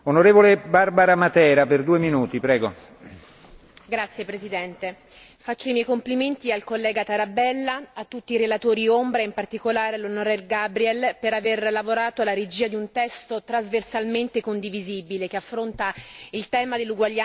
Signor Presidente, onorevoli colleghi, faccio i miei complimenti al collega Tarabella, a tutti i relatori ombra e in particolare all'onorevole Gabriel per aver lavorato alla regia di un testo trasversalmente condivisibile, che affronta il tema dell'uguaglianza di genere in maniera adeguata ed equilibrata.